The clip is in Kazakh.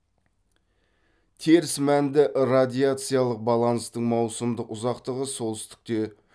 теріс мәнді радиациялық баланстың маусымдық ұзақтығы солтүстікте